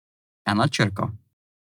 Ena črka.